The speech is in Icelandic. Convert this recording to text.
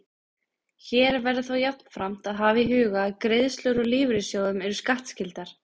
Hér verður þó jafnframt að hafa í huga að greiðslur úr lífeyrissjóðum eru skattskyldar.